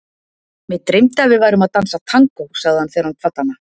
Mig dreymdi að við værum að dansa tangó, sagði hann þegar hann kvaddi hana.